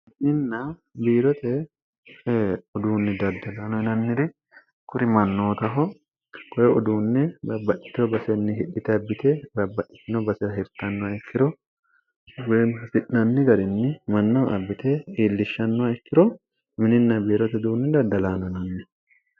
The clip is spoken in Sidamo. ininna biirote uduunni daddalaanoinanniri kurimannootaho koye uduunne baabbaccitoo basenni hidhite abbite baabbaccitino basira hertannoha ikkiro weemi hisi'nanni garinni mannaho abbite iillishshannoha ikkiro mininna biirote uduunni daddalaanonanni